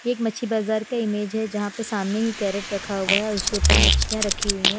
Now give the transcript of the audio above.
ये एक मच्छी बाजार का इमेज है जहां पर सामने ही कैरेट रखा हुआ है और उसके ऊपर मच्छियां रखी हुई है।